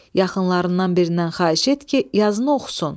Yaxınlarından birindən xahiş et ki, yazını oxusun.